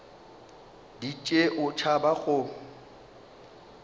di tšee o tšhaba go